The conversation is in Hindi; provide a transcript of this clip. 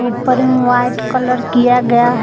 ऊपर एवं व्हाइट कलर किया गया है।